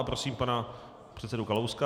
A prosím pana předsedu Kalouska.